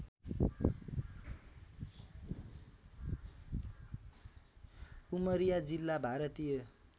उमरिया जिल्ला भारतीय